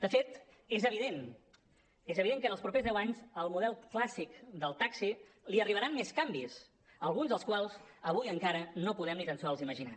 de fet és evident és evident que en els propers deu anys al model clàssic del taxi li arribaran més canvis alguns dels quals avui encara no podem ni tant sols imaginar